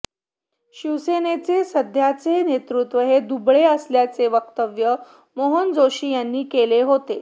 शिवसेनेचे सध्याचे नेतृत्व हे दुबळे असल्याचे वक्तव्य मनोहर जोशी यांनी केले होते